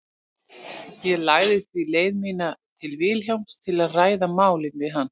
Ég lagði því leið mína til Vilhjálms til að ræða málið við hann.